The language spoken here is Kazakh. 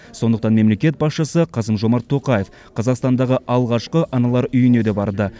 сондықтан мемлекет басшысы қасым жомарт тоқаев қазақстандағы алғашқы аналар үйіне де барды